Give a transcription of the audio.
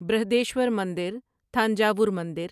برہدیشور مندر تھانجاور مندر